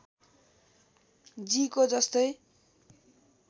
जी को जस्तै